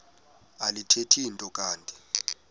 alithethi nto kanti